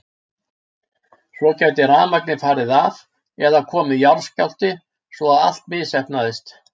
Svo gæti rafmagnið farið af eða komið jarðskjálfti svo að allt misheppnaðist.